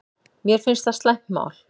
Mér finnst það slæmt mál